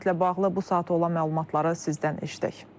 Samitlə bağlı bu saata olan məlumatları sizdən eşidək.